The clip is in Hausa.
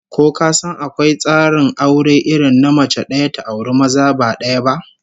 Ko ka san akwai tsarin aure irin na mace daya ta auri maza ba daya ba?